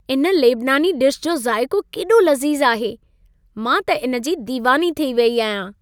इन लेबनानी डिश जो ज़ाइको केॾो लज़ीज़ आहे। मां त इन जी दीवानी थी वेई आहियां।